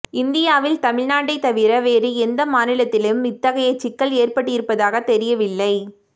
இந்தியாவில் தமிழ்நாட்டைத் தவிர வேறு எந்த மாநிலத்திலும் இத்தகைய சிக்கல் ஏற்பட்டிருப்பதாகத் தெரியவில்லை